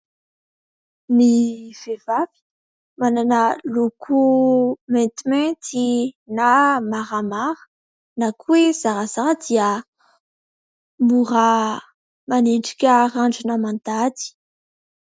Ny vehivavy : manana loko maintimainty na maramara na koa hoe zarazara dia mora manendrika randrana mandady.